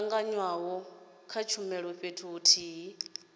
tanganywa ha tshumelo fhethu huthihi